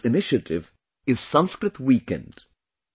The name of this initiative is Sanskrit Weekend